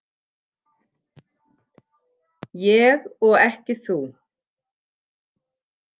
Ég og ekki þú.